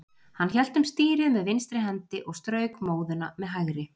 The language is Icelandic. Hann hélt um stýrið með vinstri hendi og strauk móðuna með hægri.